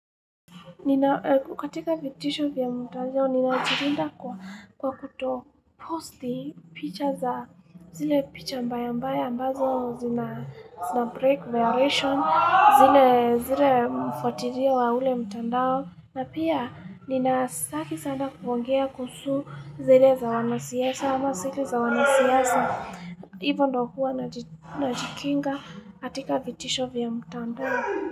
Katika vitisho vya mtandao, ninajilinda kwa kuto posti, picha za zile picha mbaya mbaya, ambazo zina break, violation, zile mfuatilio wa ule mtandao. Na pia, nina sitaki sana kuongea kuhusu zile za wanasiasa ama sile za wanasiasa, hivyo ndo huwa najikinga katika vitisho vya mtandao.